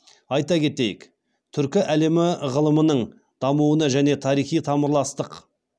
айта кетйік түркі әлемі ғылымының дамуына және тарихи тамырластық